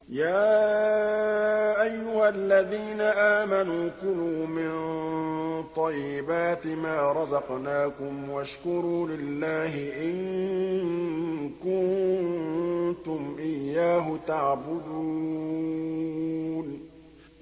يَا أَيُّهَا الَّذِينَ آمَنُوا كُلُوا مِن طَيِّبَاتِ مَا رَزَقْنَاكُمْ وَاشْكُرُوا لِلَّهِ إِن كُنتُمْ إِيَّاهُ تَعْبُدُونَ